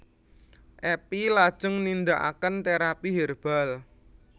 Epi lajeng nindakaken terapy herbal